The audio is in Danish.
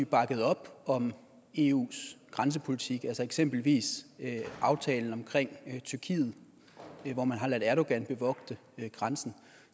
bakket op om eus grænsepolitik eksempelvis aftalen med tyrkiet hvor man har ladet erdogan bevogte grænsen